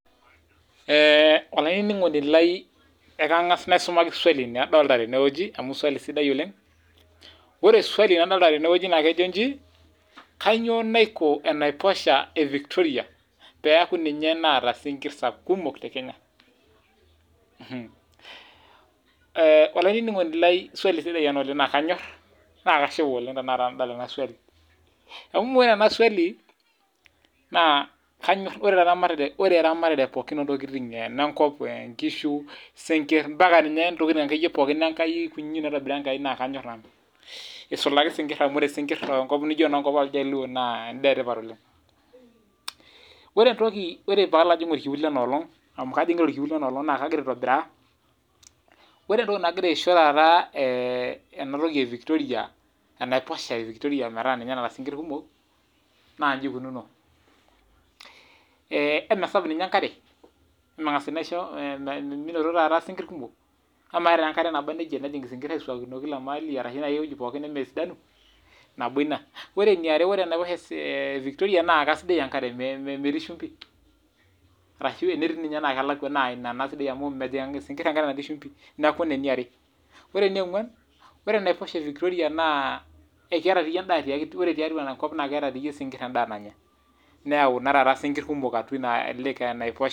Ore eramatare entokitin pookin naitobira enkai naa kanyor nanu oleng esulaki esinkir amu endaa etipat too iljaluo ore entoki nagira aishoo enaiposha ee Victoria metaa keeta sinkir kumok naa emesapuk ninye enkare emengas ena aishoo sinkir metijinga ore eniare ore enaiposha ee Victoria naa kisidai enkare metii shimbi arashu tenaa ketii naa kelakua amu mejig esinkir enkare natii shimbi neeku ena eniare ore enioguan ore enaiposha evictoria naa kiata esinkir enda nanya tiatua neyau esinkir atua ena lake enaiposha